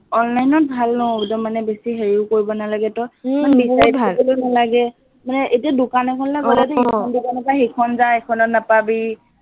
online ত ভাল ন, একদম মানে বেছি হেৰিও কৰিব নালাগে তই বিচাৰি ফুৰিব নালাগে, মানে এতিয়া দোকান এখনলৈ গলে তই ইখনৰ পৰা সিখন যা, ইখনত নাপাবি,